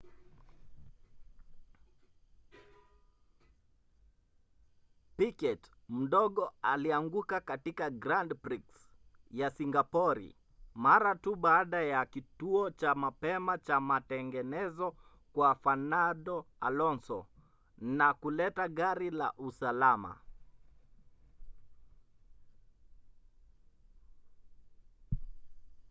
piquet mdogo alianguka katika grand prix ya singapori mara tu baada ya kituo cha mapema cha matengenezo kwa fernando alonso na kuleta gari la usalama